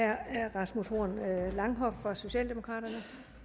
er herre rasmus horn langhoff fra socialdemokraterne